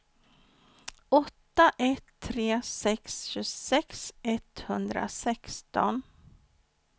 åtta ett tre sex tjugosex etthundrasexton